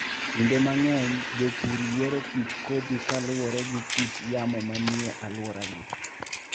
Kinde mang'eny jopur yiero kit kodhi kaluwore gi kit yamo manie alworagi.